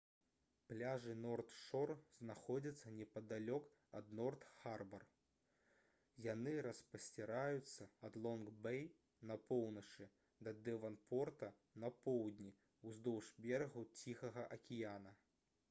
пляжы норт-шор знаходзяцца непадалёк ад норт-харбар яны распасціраюцца ад лонг-бей на поўначы да дэванпорта на поўдні ўздоўж берагу ціхага акіяна